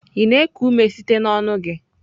Ị na-eku ume site n'ọnụ gị?